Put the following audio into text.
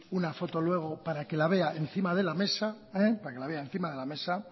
una foto luego para que la vea encima de la mesa